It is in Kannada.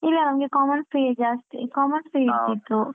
ಇಲ್ಲ ನಮ್ಗೆ ಜಾಸ್ತಿ ಇರ್ತಿತ್ತು.